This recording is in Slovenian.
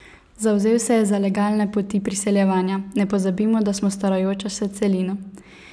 Zavzel se je za legalne poti priseljevanja: 'Ne pozabimo, da smo starajoča se celina.